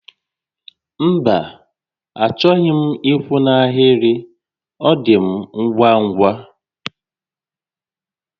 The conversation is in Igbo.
Mba, achọghị m ị́kwụ́ n'ahịrị, ọ dị m ngwa ngwa